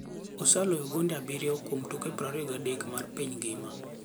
Oseloyo gonde abiriyo kuom tuke 23 mar piny ngima.